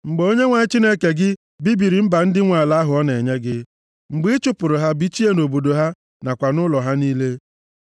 Mgbe Onyenwe anyị Chineke gị bibiri mba ndị ahụ nwe ala ahụ ọ na-enye gị, mgbe ị chụpụrụ ha bichie nʼobodo ha nakwa ụlọ ha niile,